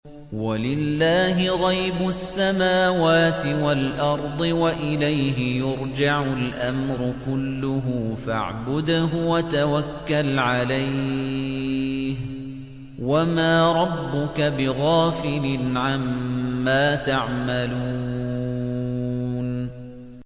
وَلِلَّهِ غَيْبُ السَّمَاوَاتِ وَالْأَرْضِ وَإِلَيْهِ يُرْجَعُ الْأَمْرُ كُلُّهُ فَاعْبُدْهُ وَتَوَكَّلْ عَلَيْهِ ۚ وَمَا رَبُّكَ بِغَافِلٍ عَمَّا تَعْمَلُونَ